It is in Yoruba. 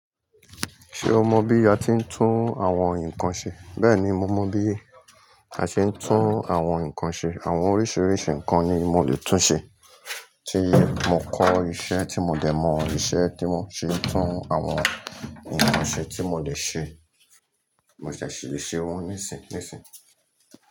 Ṣé o mọ bí a ti ń tún àwọn nǹkan ṣe? Bẹ́ẹ̀ni, mo mọ bí a ṣe ń tún àwọn nǹkan ṣe. Àwọn oríṣiiríṣii nǹkan ni mo lè tún ṣe. Tí mo kọ́ iṣẹ́ tí mo dẹ̀ mọ iṣẹ́ tí mo ṣi n tún àwọn nǹkan ṣe tí mo dè ṣe, mo ṣẹ̀ ṣi le ṣe wọ́n nísìnyí nísìnyí.